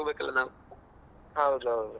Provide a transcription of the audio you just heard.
ಹಾಗೆ.